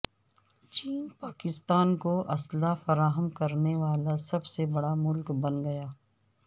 چین پاکستان کو اسلحہ فراہم کرنے والا سب سے بڑا ملک بن گیا